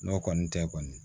N'o kɔni tɛ kɔni